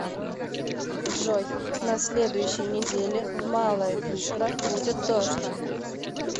джой на следующей неделе в малая вишера будет дождь